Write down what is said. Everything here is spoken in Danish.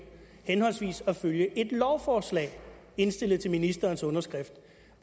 henholdsvis at følge et lovforslag indstillet til ministerens underskrift